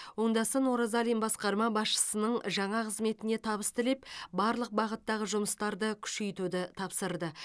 оңдасын оразалин басқарма басшысының жаңа қызметіне табыс тілеп барлық бағыттағы жұмыстарды күшейтуді тапсырды